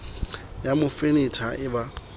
ya mo fenetha ha ba